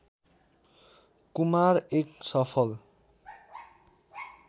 कुमार एक सफल